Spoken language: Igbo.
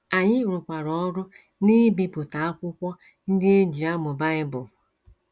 Anyị rụkwara ọrụ n’ibipụta akwụkwọ ndị e ji amụ Bible.